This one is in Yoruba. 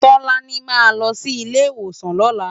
Tolani má lò si ilé iwósán lòlá